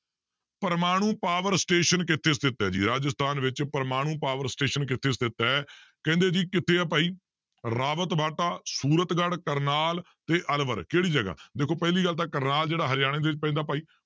ਪਰਮਾਣੂ power station ਕਿੱਥੇ ਸਥਿੱਤ ਹੈ ਜੀ ਰਾਜਸਥਾਨ ਵਿੱਚ ਪ੍ਰਮਾਣੂ power station ਕਿੱਥੇ ਸਥਿੱਤ ਹੈ ਕਹਿੰਦੇ ਜੀ ਕਿੱਥੇ ਆ ਭਾਈ ਰਾਵਤ ਬਾਟਾ, ਸੂਰਤ ਗੜ, ਕਰਨਾਲ ਤੇ ਅਲਵਰ ਕਿਹੜੀ ਜਗ੍ਹਾ ਦੇਖੋ ਪਹਿਲੀ ਗੱਲ ਤਾਂ ਕਰਨਾਲ ਜਿਹੜਾ ਹਰਿਆਣੇ ਦੇ ਵਿੱਚ ਪੈਂਦਾ ਭਾਈ